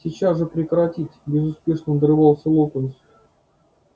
сейчас же прекратить безуспешно надрывался локонс